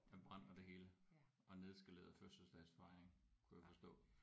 Den brand og det hele og nedskaleret fødselsdagsfejring kunne jeg forstå